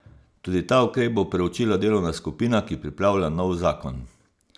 Tudi ta ukrep bo preučila delovna skupina, ki pripravlja nov zakon.